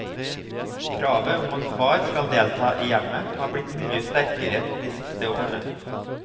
Kravet om at far skal delta i hjemmet har blitt mye sterkere de siste årene.